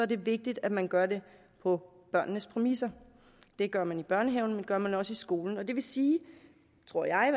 det vigtigt at man gør det på børnenes præmisser det gør man i børnehaven men det gør man også i skolen det vil sige tror jeg